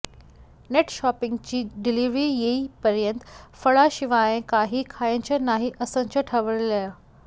नेटशॉपिंगची delivery येईपर्यंत फळांशिवाय काही खायचं नाही असंच ठरवलंय